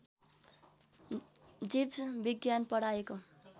जीवविज्ञान पढाएको